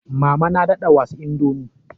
Mama na daɗa was kaunar indomie.